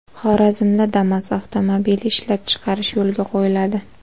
Xorazmda Damas avtomobili ishlab chiqarish yo‘lga qo‘yiladi.